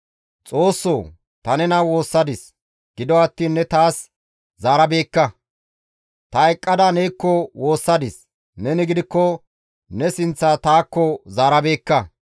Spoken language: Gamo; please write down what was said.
Xoossoo, ta nena woossadis; gido attiin ne taas zaarabeekka; ta eqqada neekko woossadis; neni gidikko ne sinththa taakko zaarabeekka.